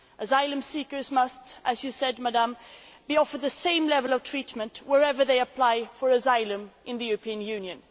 Asylum seekers must, as you said, Madam, be offered the same level of treatment wherever they apply for asylum in the European Union.